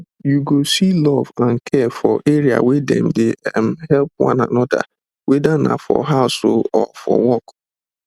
you go see love and care for area wey dem dey um help one another weda na for house um or for work